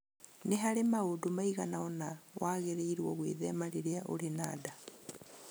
Nĩ harĩ maũndũ maigana ũna wagĩrĩirũo gwĩthema rĩrĩa ũrĩ na nda